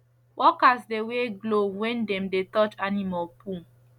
workers dey wear glove when dem dey touch animal poo